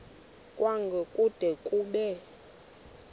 kwango kude kube